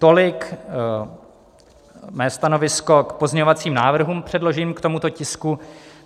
Tolik mé stanovisko k pozměňovacím návrhům předloženým k tomuto tisku.